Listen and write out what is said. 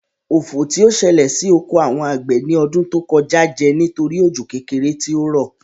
Ofò tí ó sẹlẹ̀ sí oko àwọn àgbẹ̀ ní ọdún tó kọjá jẹ́ nítorí òjò kékeré tí ó rọ̀